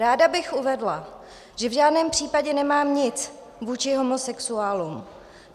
Ráda bych uvedla, že v žádném případě nemám nic vůči homosexuálům.